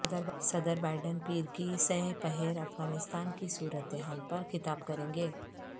صدر بائیڈن پیر کی سہ پہر افغانستان کی صورت حال پرخطاب کریں گے